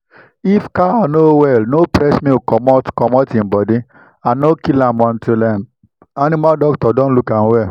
animal wey don dey cough make dem comot am from where the rest dey make e no go enter their body